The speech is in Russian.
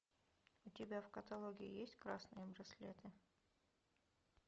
у тебя в каталоге есть красные браслеты